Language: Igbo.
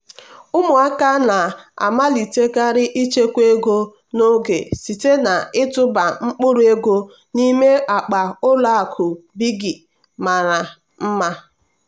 ụmụaka na-amalitekarị ichekwa ego n'oge site na-ịtụba mkpụrụ ego n'ime akpa ụlọ akụ piggy mara mma.